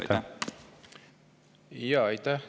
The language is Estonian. Aitäh!